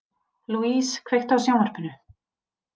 Louise, kveiktu á sjónvarpinu.